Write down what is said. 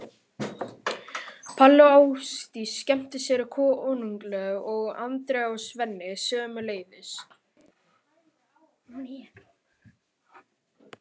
Palli og Ásdís skemmtu sér konunglega og Andrea og Svenni sömuleiðis.